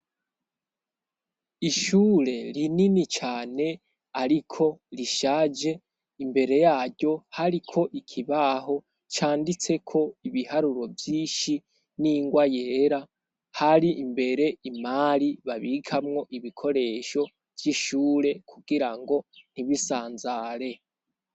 Ishure rinini cane ariko rishaje imbere yaryo hari ko ikibaho canditseko ibiharuro vyinshi n'ingwa yera hari imbere imari babikamwo ibikoresho by'ishure kugira ngo ntibisanzare.